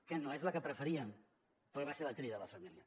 que no és la que preferíem però va ser la tria de la família